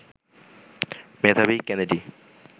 মেধাবী কেনেডি